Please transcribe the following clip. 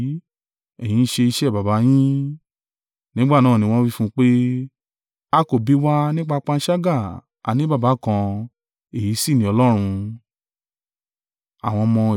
Ẹ̀yin ń ṣe iṣẹ́ baba yín.” Nígbà náà ni wọ́n wí fún un pé, “a kò bí wa nípa panṣágà, a ní Baba kan, èyí sì ni Ọlọ́run.”